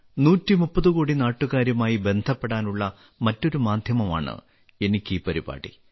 130 കോടി നാട്ടുകാരുമായി ബന്ധപ്പെടാനുള്ള മറ്റൊരു മാധ്യമമാണ് എനിയ്ക്കീ പരിപാടി